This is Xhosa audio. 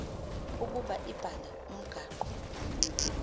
ukuba ibhale umgaqo